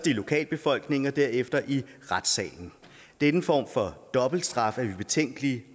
lokalbefolkningen og derefter i retssalen denne form for dobbeltstraf er vi betænkelige